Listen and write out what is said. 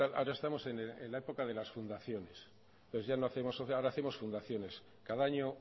tal ahora estamos en la época de las fundaciones ahora hacemos fundaciones cada año